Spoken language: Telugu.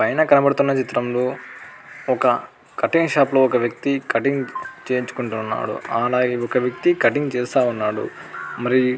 పైన కనపడుతున్న చిత్రంలో ఒక కటింగ్ షాప్ ఒక వ్యక్తి కటింగ్ చేయుంచుకొంటున్నాడు. ఆలా ఒక వ్యక్తి కటింగ్ చేస్తూన్నాడు. మరి --